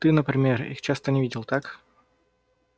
ты например их часто не видел так